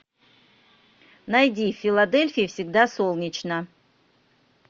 найди в филадельфии всегда солнечно